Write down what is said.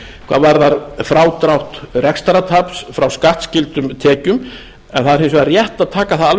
hvað varðar frádrátt rekstrartaps frá skattskyldum tekjum en það er hins vegar rétt að taka það